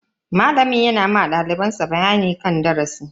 Malamin yana ma daliban sa bayanin darasi.